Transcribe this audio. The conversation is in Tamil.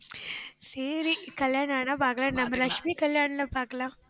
சரி, கல்யாணம் ஆனா பாக்கலாம். நம்ம லட்சுமி கல்யாணத்துல பாக்கலாம்